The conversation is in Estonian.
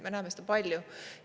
Me näeme seda palju.